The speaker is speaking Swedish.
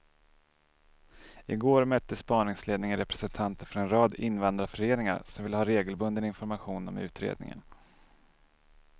I går mötte spaningsledningen representanter för en rad invandrarföreningar som vill ha regelbunden information om utredningen.